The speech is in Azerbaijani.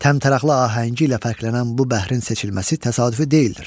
Təntənəli ahəngi ilə fərqlənən bu bəhrin seçilməsi təsadüfi deyildir.